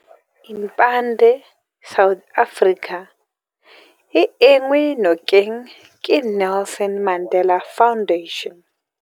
Impande South Africa o enngwe nokeng ke Nelson Mandela Foundation.